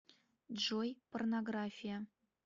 джой порнография